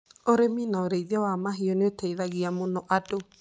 Ũrĩmi na ũrĩithi wa mahiũ nĩ ũteithagia mũno andũ